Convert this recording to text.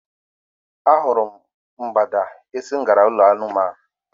A hụrụ m mgbada esi m gara n'ụlọ anụmanụ.